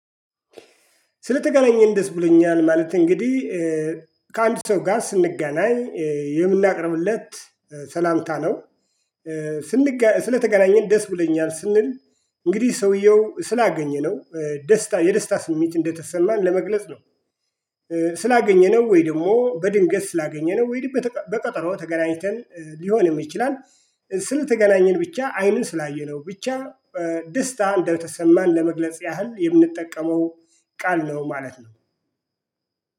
ስለተገናኘን ደስ ብሎኛል ማለት እንግዲህ ከአንድ ሰው ጋር ስንገናኝ የምናቀርብለት ሰላምታ ነው። ስንገና ስለተገናኘን ደስ ብለኛል ስንል እንግዲህ ሰውየው ስላገኘነው ደስታ የደስታ ስሜት እንደተሰማን ለመግለጽ ነው። ስላገኘነው ወይ ደግሞ በድንገት ስላገኘነው ወይንም በተቃ በቀጠሮ ተገናኝተን ሊሆንም ይችላል። ስለ ተገናኘን ብቻ አይኑን ስላየነው ብቻ ደስታ እንደተሰማን ለመግለጽ ያህል የምንጠቀመው ቃል ነው። ማለት ነው